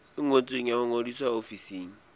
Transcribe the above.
ngotsweng ya ho ngodisa ofising